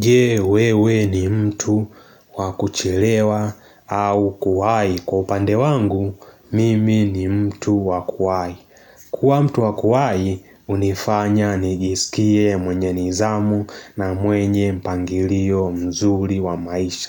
Je wewe ni mtu wakuchelewa au kuwai? Kwa upande wangu, mimi ni mtu wa kuwai. Kuwa mtu wakuwai, hunifanya nigisikie mwenye nidhamu na mwenye mpangilio mzuri wa maisha.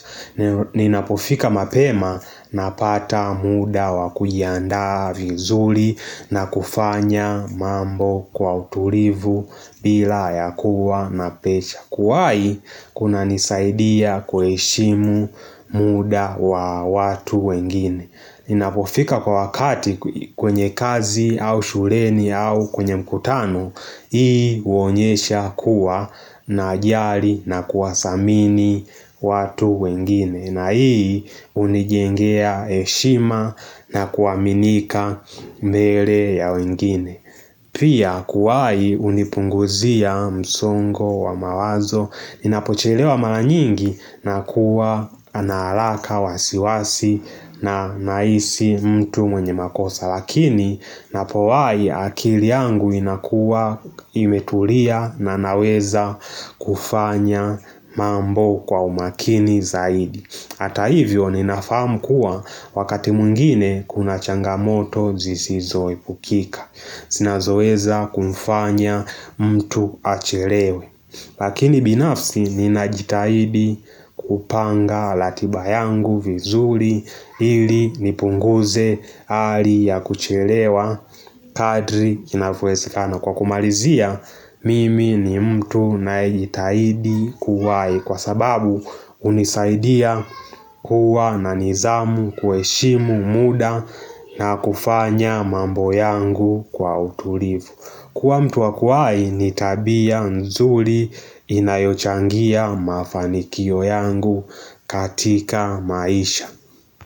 Ninapofika mapema na pata muda wakujiandaa vizuri na kufanya mambo kwa utulivu bila ya kuwa na presha. Kuwai kuna nisaidia kuheshimu muda wa watu wengine ninapofika kwa wakati kwenye kazi au shuleni au kwenye mkutano Hii huonyesha kuwa najali na kuwa thamini watu wengine na hii hunijengea heshima na kuaminika mbele ya wengine Pia kuwahi hunipunguzia msungo wa mawazo ninapochilewa maranyingi nakuwa na haraka wasiwasi na nahisi mtu mwenye makosa. Lakini ninapowahi akili yangu inakuwa imetulia na naweza kufanya mambo kwa umakini zaidi. Hata hivyo ninafahamu kuwa wakati mwingine kuna changamoto zisizoepukika zinazoweza kumfanya mtu achelewe Lakini binafsi ninajitahidi kupanga ratiba yangu vizuri ili nipunguze hali ya kuchelewa kadri inavyowezekana Kwa kumalizia mimi ni mtu najitahidi kuwahi Kwa sababu hunisaidia kuwa na nizamu kuheshimu muda na kufanya mambo yangu kwa utulivu Kwa mtu wakwai ni tabia nzuri inayochangia mafanikio yangu katika maisha.